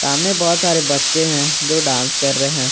सामने बहोत सारे बच्चे हैं जो डांस कर रहे हैं।